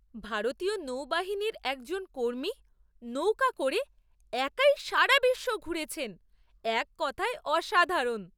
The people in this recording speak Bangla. ভারতীয় নৌবাহিনীর একজন কর্মী নৌকা করে একাই সারা বিশ্ব ঘুরেছেন। এক কথায় অসাধারণ!